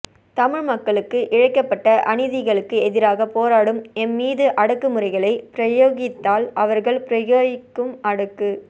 தமிழ் மக்களுக்கு இழைக்கப்பட்ட அநீதிகளுக்கு எதிராகப் போராடும் எம்மீது அடக்குமுறைகளை பிரயோகித்தால் அவர்கள் பிரயோகிக்கும் அடக்கு